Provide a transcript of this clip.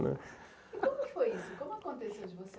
E como aconteceu que foi isso? Como aconteceu de você